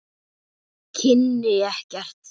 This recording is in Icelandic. Kynni ekkert.